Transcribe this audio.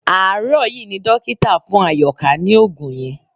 Àárò yí ni dókítà fún Àyòká ní òògùn yẹn